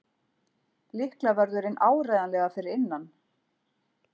Lyklavörðurinn áreiðanlega fyrir innan.